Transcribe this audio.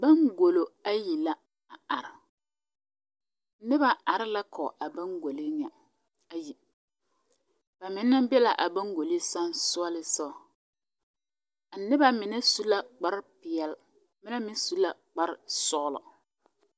Baŋgollo ayi la a are noba are la kɔge a baŋgolo ŋa ayi ba mine be la a baŋgolo sensogleŋ soga noba mine su la kparepeɛle ba mine meŋ su la kparesɔglɔ.